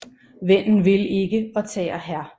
Vennen vil ikke og tager Hr